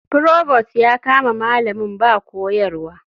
Provost ya kama malamin ba koyarwa.